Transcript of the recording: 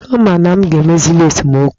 Ọ ma na m ga-emezili esemokwu a?